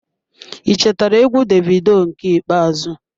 I chetara egwu Davido nke ikpeazụ.